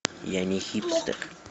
я не хипстер